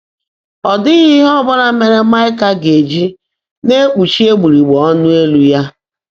Ọ́ ḍị́ghị́ íhe ọ́ bụ́lá mèèré Máịkà gá-èjí ‘ná-èkpúchi égbùgbèèré ọ́nụ́ élú’ yá.